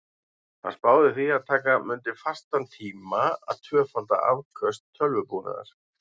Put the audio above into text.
Hann spáði því að taka mundi fastan tíma að tvöfalda afköst tölvubúnaðar.